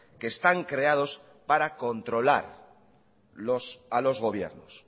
que están creados para controlar a los gobiernos